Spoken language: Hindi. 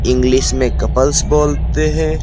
इंग्लिश में कपल्स बोलते हैं।